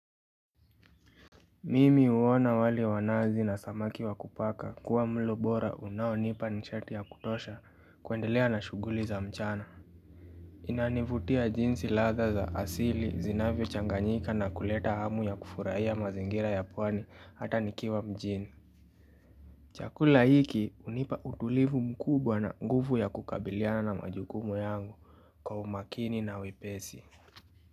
Mimi huona wale wanazi na samaki wa kupaka kuwa mlo bora unaonipa nishati ya kutosha kuendelea na shughuli za mchana inanivutia jinsi ladha za asili zinavyo changanyika na kuleta hamu ya kufurahia mazingira ya pwani hata nikiwa mjini chakula hiki hunipa utulivu mkubwa na nguvu ya kukabiliana na majukumu yangu kwa umakini na wepesi.